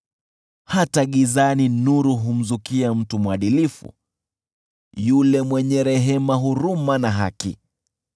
Hata gizani nuru humzukia mtu mwadilifu, yule mwenye rehema, huruma na haki.